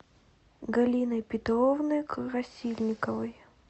галиной петровной красильниковой